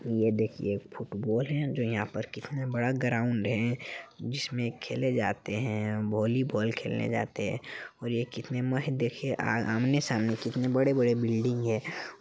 ये देखिए एक फुटबॉल है जो यहा पर कितना बड़ा ग्राउन्ड है | जिसमें खेले जाते है वॉलीबॉल खेलने जाते हैं और ये कितने मह देखिए आमने-सामने कितने बड़े-बड़े बिल्डिंग है ।